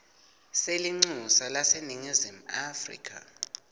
selincusa laseningizimu afrika